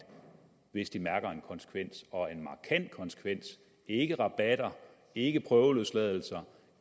hvis de mærker en konsekvens og en markant konsekvens ikke rabatter ikke prøveløsladelser